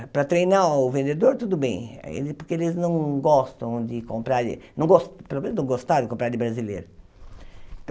Para treinar o vendedor, tudo bem, ele porque eles não gostam de comprar de, não gos pelo menos não gostavam de comprar de brasileiro.